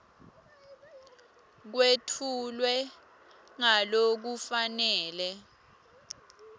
kwetfulwe ngalokufanele